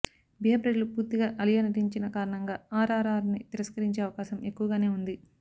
బీహార్ ప్రజలు పూర్తిగా అలియా నటించిన కారణంగా ఆర్ ఆర్ ఆర్ ని తిరస్కరించే అవకాశం ఎక్కువగానే ఉంది